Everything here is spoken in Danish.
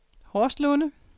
Horslunde